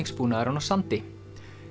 flutningsbúnaðurinn á sandi